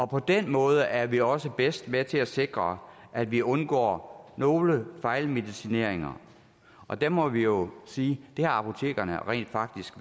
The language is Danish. på den måde er vi også bedst med til at sikre at vi undgår nogle fejlmedicineringer og det må vi jo sige i dag at apotekerne rent faktisk